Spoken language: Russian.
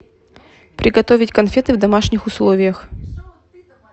приготовить конфеты в домашних условиях